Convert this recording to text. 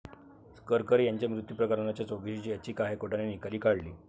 करकरे यांच्या मृत्यू प्रकरणाच्या चौकशीची याचिका हायकोर्टाने निकाली काढली